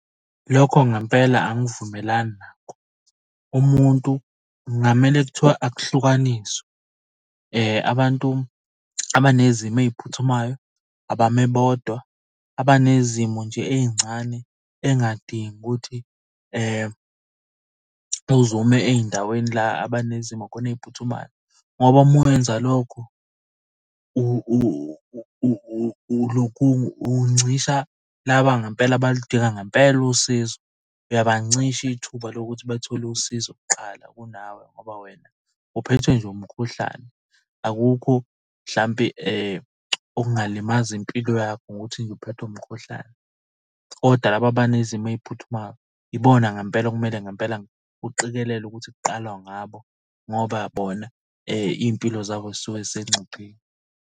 Lokho ngempela angivumelani nakho. Umuntu kungamele kuthiwa akuhlukaniswe, abantu abanezimo ey'phuthumayo abame bodwa. Abanezimo nje ey'ncane ey'ngadingi ukuthi uze ume ey'ndaweni la abanezimo khona ey'phuthumayo ngoba uma wenza lokho uncisha laba abalidinga ngempela usizo. Uyabancisha ithuba lokuthi bathole usizo kuqala kunawe ngoba wena uphethwe nje umkhuhlane. Akukho mhlampe okungalimaza impilo yakho ngokuthi nje uphethwe umkhuhlane, kodwa labo abanezimo ey'phuthumayo ibona ngampela okumele ngempela uqikelele ukuthi kuqalwa ngabo ngoba bona iy'mpilo zabo zisuke zisengcupheni.